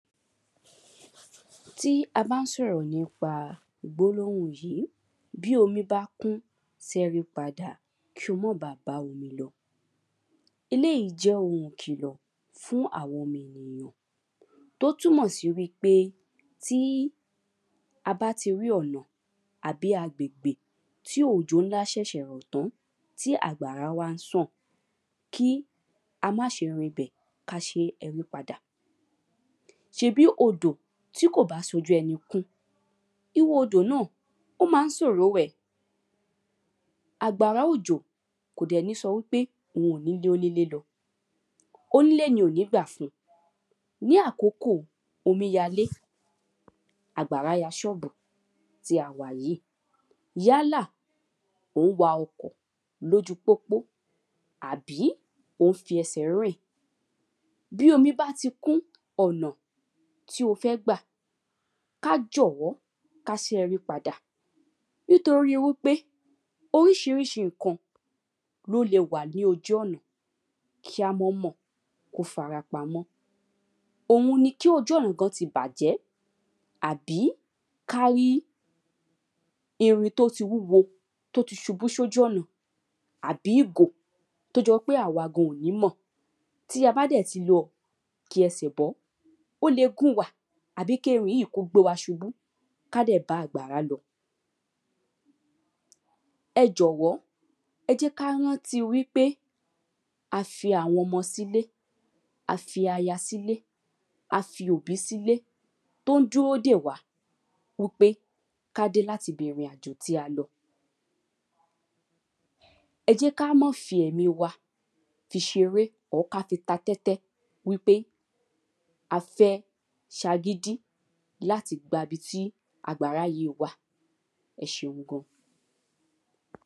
Tí a bá ń sọ̀rọ̀ nípa gbólóhùn yìí bí omi bá kún sáré padà kí o má ba bá omi lọ. Eléèyí jẹ́ ohun ìkìlọ̀ fún àwọn ọmọ ènìyàn ó túnmọ̀ sí wípé tí a bá ti rí ọ̀nà àbí agbègbè tí òjò ńlá ṣẹ̀ṣẹ̀ rọ̀ tán tí àgbàrá wá ń sàn kí a má ṣe rí ibẹ̀ ká ṣe rí padà. ṣebí odò tí kò bá ṣojú ẹni kún irú odò náà ó má ń sòro wẹ̀. Àgbàrá òjò kò dẹ̀ ní sọ wípé òhun ò ní lé onílé lọ onílé ni ò ní gbà fún. Ní àkókò omíyalé àgbàrá ya ṣọ́ọ̀bù tí a wà yìí. Yálà ò ń wa ọkọ̀ lójú pópó àbí ò ń fi ẹsẹ̀ rìn. Bí omi bá ti kún ọ̀nà tí o fẹ́ gbà ká jọ̀wọ́ ká ṣẹ́rí padà nítorí wípé oríṣiríṣi nǹkan ló le wà ní ojú ọ̀nà kí á mọ́ mọ̀ kí ó farapamọ́ òhun ni kí ojú ọ̀nà kan ti bàjẹ́ àbí ká rí ewu tó ti wúwo tó ti ṣubú sójú ọ̀nà àbí ìgò tó jọ pé àwa gan ò ní mọ̀. Tí a bá dẹ̀ ti wọ òkè ẹsẹ̀ bọ́ ó le gún wa àbí kí ẹni yìí kó gbé wa ṣubú ká dẹ̀ àgbàrá lọ. Ẹ jọ̀wọ́ ẹ jẹ́ ká rántí wípé a fi àwọn ọmọ sílé a fi aya sílé a fi òbí sílé tó ń dúró dè wá wípé ká dé láti ibi ètò tí a lọ. Ẹ jẹ́ ká mọ́ fi ẹ̀mí wa fi ṣeré or ká fi ta tẹ́tẹ́ wípé a fẹ́ ṣagídí láti gba ibi tí àgbàrá yìí wà ẹṣeun gan.